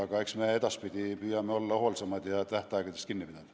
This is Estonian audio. Aga püüame edaspidi olla hoolsamad ja tähtaegadest kinni pidada.